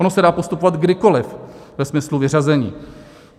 Ono se dá postupovat kdykoliv ve smyslu vyřazení.